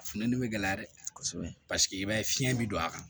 Funtɛni bɛ gɛlɛya dɛ kosɛbɛ paseke i b'a ye fiɲɛ bɛ don a kan